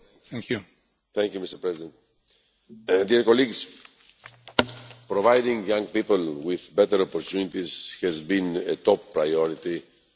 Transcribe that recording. Mr President, providing young people with better opportunities has been a top priority for the Commission.